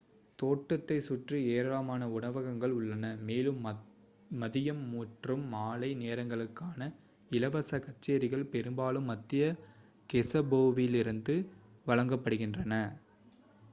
தோட்டத்தைச் சுற்றி ஏராளமான உணவகங்கள் உள்ளன மேலும் மதியம் மற்றும் மாலை நேரங்களுக்கான இலவச கச்சேரிகள் பெரும்பாலும் மத்திய கெஸெபோவிலிருந்து வழங்கப்படுகின்றன